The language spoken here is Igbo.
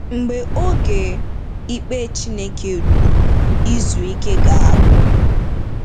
Mgbe oge ikpe Chineke ruru, “izu ike” ga-agwụ.